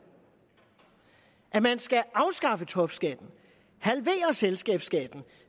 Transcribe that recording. at man skal afskaffe topskatten halvere selskabsskatten